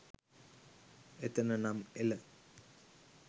එතන නම් එල